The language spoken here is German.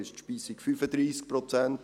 2012 betrug die Speisung 35 Prozent.